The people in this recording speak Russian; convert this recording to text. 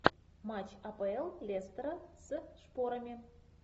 матч апл лестера с шпорами